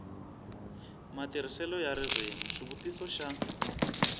matirhiselo ya ririmi xivutiso xa